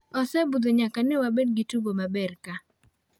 osebudho nyaka newabed gi tugo maber ka.